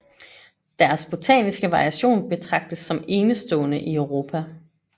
Deres botaniske variation betragtes som enestående i Europa